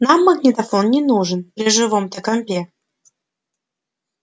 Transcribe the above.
нам магнитофон не нужен при живом-то компе